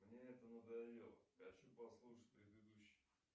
мне это надоело хочу послушать предыдущий